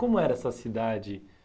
Como era essa cidade